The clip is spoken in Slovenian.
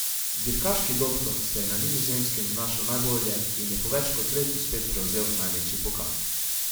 Dirkaški doktor se je na Nizozemskem znašel najbolje in je po več kot letu spet prevzel največji pokal.